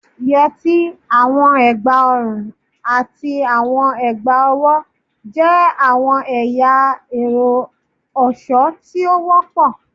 Yeti, awọn egbaorun, ati awọn egbaowo jẹ awọn ẹya ẹrọ ọṣọ ti o wọpọ